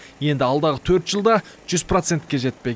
енді алдағы төрт жылда жүз процентке жетпек